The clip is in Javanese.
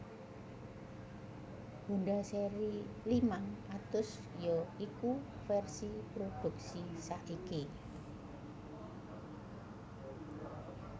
Honda seri limang atus ya iku vèrsi prodhuksi saiki